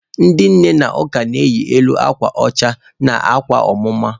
Ndị nne n'ụka na-eyi elu akwa ọcha na akwa ọmụma.